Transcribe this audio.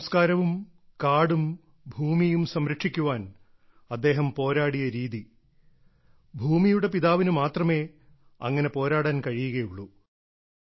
തന്റെ സംസ്കാരവും കാടും ഭൂമിയും സംരക്ഷിക്കാൻ അദ്ദേഹം പോരാടിയ രീതി ഭൂമിയുടെ പിതാവിന് മാത്രമേ അങ്ങനെ പോരാടാൻ കഴിയുകയുള്ളൂ